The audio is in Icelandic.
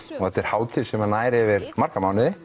þetta er hátíð sem nær yfir marga mánuði